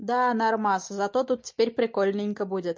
да нормас зато тут теперь прикольненько будет